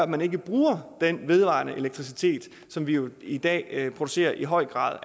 man ikke bruger den vedvarende elektricitet som vi jo i dag producerer i høj grad